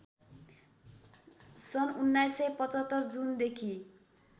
सन् १९७५ जुनदेखि